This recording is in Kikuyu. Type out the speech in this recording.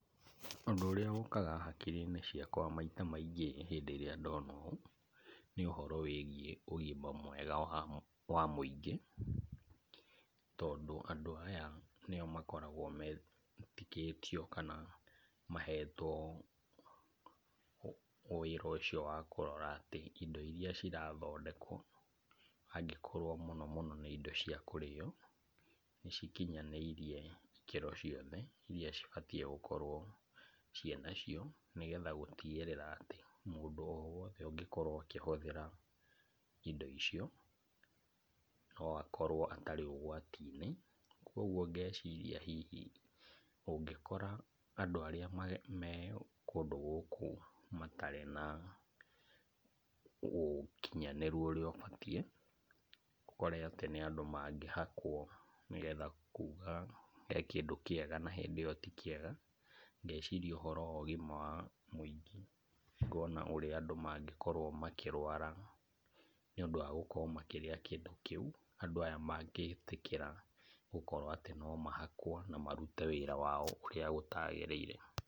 Ũndũ ũrĩa ũkaga hakiri-inĩ ciakwa maita maingĩ rĩrĩa ndona ũũ, nĩ ũhoro wĩgiĩ ũgima mwega wa mũingĩ, tondũ andũ aya , nĩo mkoragwo metĩkĩtio kana maheto wĩra ũcio wakũrora atĩ indo cirathondekwo angĩkorwo mũno mũno nĩ indo cia kũrĩo, nĩcikinyaniĩrie ikĩro ciothe iria cibatiĩ gũkorwo ciĩ nacio, nĩgetha gũtigĩrĩra atĩ mũndũ o wothe ũngĩkorwo akĩhũthĩra indo icio, no akorwo atarĩ ũgwati-inĩ, ũgwo ngeciria hihi ũngĩkora andũ arĩa me kũndũ gũkũ matarĩ na ũkinyanĩru ũrĩa ũbatiĩ, ũkore atĩ nĩ andũ mangĩhakwo nĩgetha kuuga he kĩndũ kĩega na hĩndi ĩyo ti kiega, ngeciria ũhoro wa ũgima mwega wa mũingĩ ũrĩa andũ mangĩkorwo makĩrwara nĩ ũndũ wa kũrĩa kĩndũ kĩu andũ aya magĩtĩkĩra gũkorwo atĩ no mahakwo na marute wĩra wao ũrĩa gũtagĩrĩire.